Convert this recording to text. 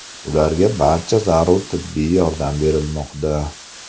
Ularga barcha zarur tibbiy yordam berilmoqda.